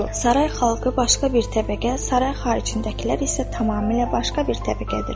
Saray xalqı başqa bir təbəqə, saray xaricindəkilər isə tamamilə başqa bir təbəqədir.